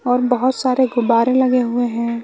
और बहोत सारे गुब्बारे लगे हुए हैं।